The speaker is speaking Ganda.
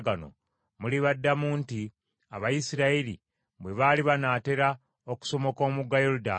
mulibaddamu nti, ‘Abayisirayiri bwe baali banaatera okusomoka omugga Yoludaani,